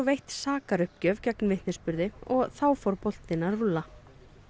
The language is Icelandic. veitt sakaruppgjöf gegn vitnisburði og þá fór boltinn að rúlla